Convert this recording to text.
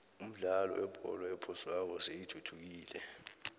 umdlalo webholo ephoswako seyithuthukile